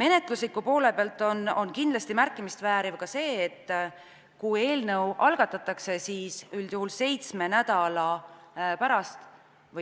Menetlusliku poole pealt on kindlasti märkimist vääriv see, et kui eelnõu algatatakse, siis üldjuhul seitsme nädala